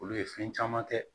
Olu ye fɛn caman kɛ